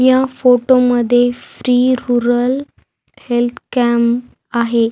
या फोटो मध्ये free rural health camp आहे.